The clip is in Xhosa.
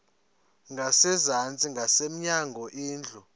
ngasezantsi ngasemnyango indlu